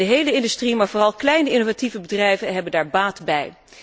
De hele industrie, maar vooral kleine innovatieve bedrijven hebben daar baat bij.